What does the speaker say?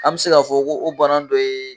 An bɛ se k'a fɔ ko o bana dɔ ye